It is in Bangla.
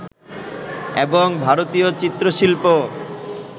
এবং ভারতীয় চিত্র-শিল্প